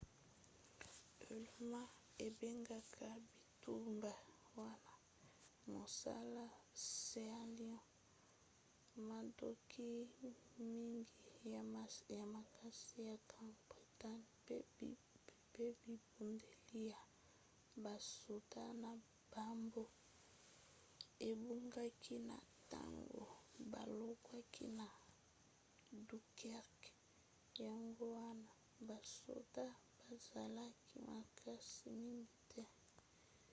allemagne ebengaka bitumba wana mosala sealion". mandoki mingi ya makasi ya grande bretagne pe bibundeli ya basoda na bango ebungaki na ntango balongwaki na dunkerque yango wana basoda bazalaki makasi mingi te